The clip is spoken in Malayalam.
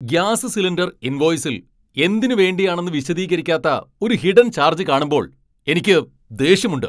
ഗ്യാസ് സിലിണ്ടർ ഇൻവോയിസിൽ എന്തിനുവേണ്ടിയാണെന്ന് വിശദീകരിക്കാത്ത ഒരു ഹിഡൻ ചാർജ് കാണുമ്പോൾ എനിക്ക് ദേഷ്യമുണ്ട്.